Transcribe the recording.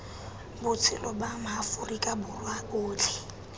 botshelo ba maaforika borwa otlhe